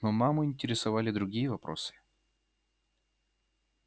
но маму интересовали другие вопросы